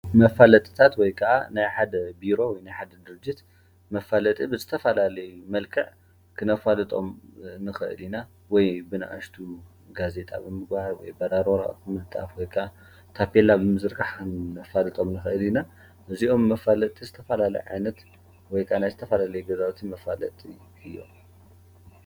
መፋለጥታት ወይከዓ ናይ ሓደ ቢሮ ወይ ናይ ሓደ ደርጅት መፋለጢ ብዝተፈላለዩ መልኽዕ ክነፋልጦም ንክእል ኢና ወይ ብናኣሽቲ ጋዜጣ ብምግባር በራሪ ወርቀት ብምልጣፍ ወይከዓ ታፔላ ብምዝርጋሕን ክነፋልጦም ንክእል ኢና፤ እዞም መፋለጢ ዝተፈላለዩ ዓይነት ወይከዓ ናይ ዝተፈላለዩ ግዛዉቲ መፋለጢ እዮም።